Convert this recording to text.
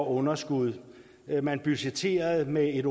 underskud man budgetterede med et